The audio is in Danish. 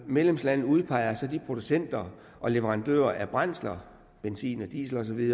medlemsland udpeger så de producenter og leverandører af brændsler benzin diesel